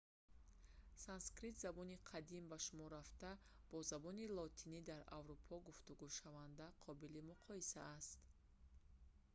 санскрит забони қадим ба шумор рафта бо забони лотинии дар аврупо гуфтугӯшаванда қобили муқоиса аст